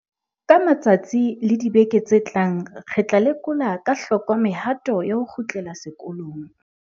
Ka matsatsi le dibeke tse tlang re tla lekola ka hloko mehato ya ho kgutlela sekolong.